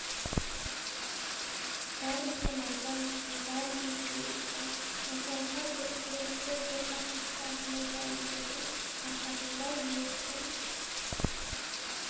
бәрі де майдан үшін бәрі де жеңіс үшін осылайша бар тілекті бір мақсатқа жұмылдырудың арқасында жеңістің